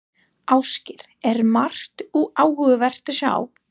Ásgeir, er margt áhugavert að sjá?